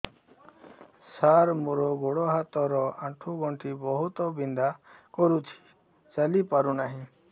ସାର ମୋର ଗୋଡ ହାତ ର ଆଣ୍ଠୁ ଗଣ୍ଠି ବହୁତ ବିନ୍ଧା କରୁଛି ଚାଲି ପାରୁନାହିଁ